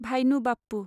भाइनु बाप्पु